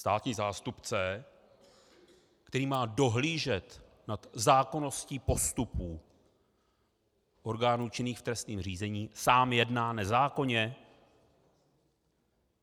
Státní zástupce, který má dohlížet nad zákonností postupů orgánů činných v trestním řízení, sám jedná nezákonně?